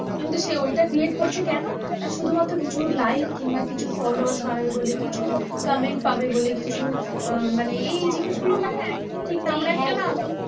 কিন্তু সে ঐটা create করছে কেন? না শুধুমাত্র কিছু like কিংবা কিছু followers বাড়াবে বলে, কিছু comment পাবে বলে, কিছু আহ মানে এই জিনিসগুলো মানে একদম ঠিক না, আমার একটা না